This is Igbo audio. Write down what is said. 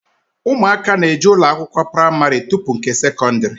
Ụmụaka na-eje ụlọ akwụkwọ pramarị tupu nke sekọndrị